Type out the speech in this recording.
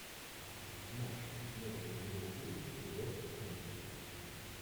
матч между ливерпуль и вест хэм